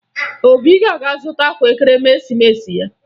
Obi ga-aga zụta akwa Ekeresimeesi ya